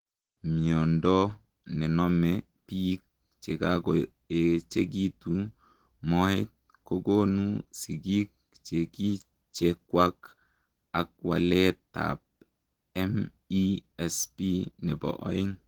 Miondoo nenomee piik chekakoechegituu moet kokonuu sigiik chekichekwak ak waleet ap MESP nepo oeng